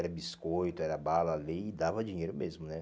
Era biscoito, era bala, ali, e dava dinheiro mesmo, né?